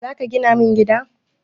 Zaka gina min gida?